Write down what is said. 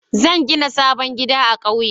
Zan gina sabon gida a ƙauye.